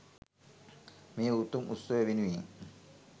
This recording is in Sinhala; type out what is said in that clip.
මේ උතුම් උත්සවය වෙනුවෙන්